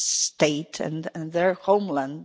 state and their homeland.